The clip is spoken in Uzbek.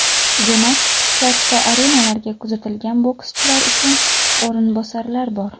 Demak, katta arenalarga kuzatilgan bokschilar uchun o‘rinbosarlar bor.